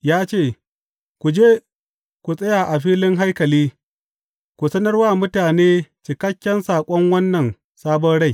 Ya ce, Ku je ku tsaya a filin haikali ku sanar wa mutane cikakken saƙon wannan sabon rai.